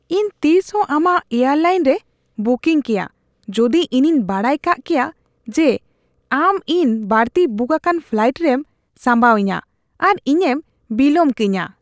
ᱤᱧ ᱛᱤᱥᱦᱚᱸ ᱟᱢᱟᱜ ᱮᱭᱟᱨᱞᱟᱭᱤᱱ ᱨᱮ ᱵᱩᱠᱤᱝ ᱠᱮᱭᱟ ᱡᱩᱫᱤ ᱤᱧᱤᱧ ᱵᱟᱰᱟᱭ ᱠᱟᱜ ᱠᱮᱭᱟ ᱡᱮ ᱟᱢ ᱤᱧ ᱵᱟᱹᱲᱛᱤ ᱵᱩᱠ ᱟᱠᱟᱱ ᱯᱷᱞᱟᱭᱤᱴ ᱨᱮᱢ ᱥᱟᱸᱵᱟᱣ ᱤᱧᱟᱹ ᱟᱨ ᱤᱧᱮᱢ ᱵᱤᱞᱟᱹᱢ ᱠᱟᱹᱧᱟᱹ ᱾ (ᱜᱟᱦᱟᱠ)